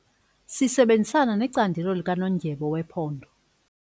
Sisebenzisana necandelo likanondyebo wephondo.